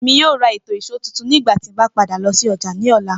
Emi yoo ra eto ìṣó tuntun nigbati mo ba lọ si ọja ni ọla.